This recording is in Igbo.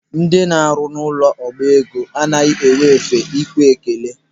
Ndị na-arụ n'ụlọ ọba ego anaghị enwe efe ikwe ekele.